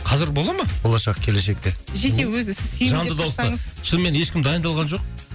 қазір бола ма болашақ келешекте жеке өзі сүйемелдеп шынымен ешкім дайындалған жоқ